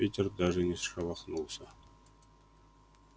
питер даже не шелохнулся